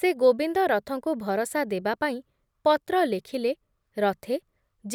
ସେ ଗୋବିନ୍ଦ ରଥଙ୍କୁ ଭରସା ଦେବାପାଇଁ ପତ୍ର ଲେଖିଲେ ରଥେ,